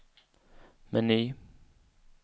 meny